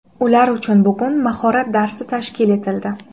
Ular uchun bugun mahorat darsi tashkil etildi.